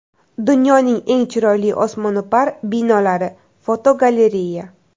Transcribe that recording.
Dunyoning eng chiroyli osmono‘par binolari (fotogalereya).